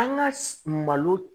An ka malo